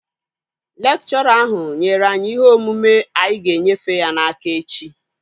Lekchọra ahụ nyere anyị ihe omume anyị ga-enyefe ya n'aka echi